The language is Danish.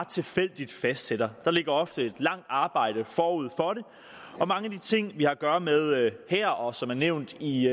tilfældigt fastsætter der ligger ofte et langt arbejde forud for det og mange af de ting vi har at gøre med her og som er nævnt i